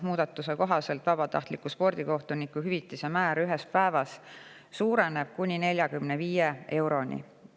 Muudatuse kohaselt vabatahtliku spordikohtuniku hüvitise määr ühes päevas suureneb kuni 45 euroni.